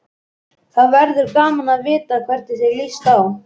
Það verður gaman að vita hvernig þér líst á.